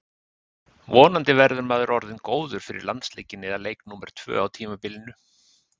Vonandi verður maður orðinn góður fyrir landsleikinn eða leik númer tvö á tímabilinu.